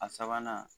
A sabanan